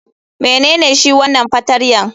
Menene shi wanan fartanya?